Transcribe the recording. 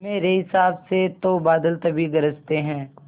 मेरे हिसाब से तो बादल तभी गरजते हैं